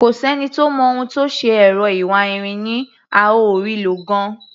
Kò sẹ́ni tó mọ ohun tó ṣe ẹ̀rọ awáirin yín, a ò rí i lò gan-an.